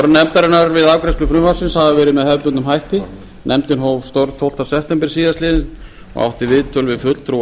nefndarinnar við afgreiðslu frumvarpsins hafa verið með hefðbundnum hætti nefndin hóf störf tólfta september síðastliðinn og átti viðtöl við fulltrúa